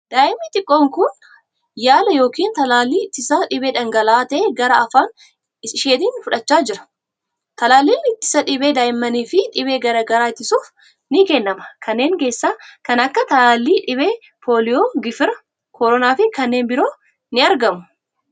Daa'imni xiqqoon kun, yaala yookin talaallii ittisa dhibee dhangala'aa ta'e gara afaan isheetin fudhachaa jira. Talaalliin ittisa dhibee daa'immaniif dhibee garaa garaa ittisuuf ni kennama. Kanneen keessaa kan akka talaalliidhibee pooliyoo, gifira, koronaa fi kanneen biroo ni argamu?